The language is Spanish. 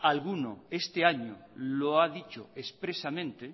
alguno este año lo ha dicho expresamente